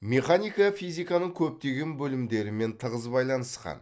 механика физиканың көптеген бөлімдерімен тығыз байланысқан